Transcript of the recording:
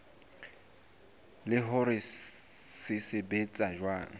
le hore se sebetsa jwang